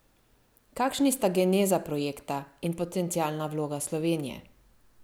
Kakšni sta geneza projekta in potencialna vloga Slovenije?